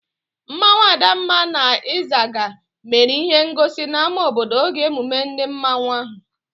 Mmanwu Adamma na Ịzaga mere ihe ngosi n'ámá obodo oge emume ndi mmanwu ahụ